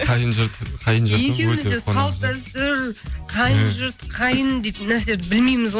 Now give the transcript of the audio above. қайын жұрт екеуіміз де салт дәстүр қайын жұрт қайын дейтін нәрселерді білмейміз ғой